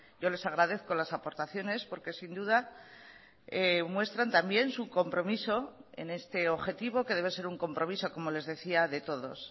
yo les agradezco las aportaciones porque sin duda muestran también su compromiso en este objetivo que debe ser un compromiso como les decía de todos